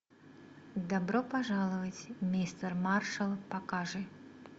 добро пожаловать мистер маршал покажи